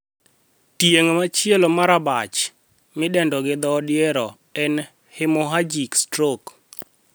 Tieng' machielo mar abach, midendo gi dhoo odiero, en 'hemorrhagic stroke'.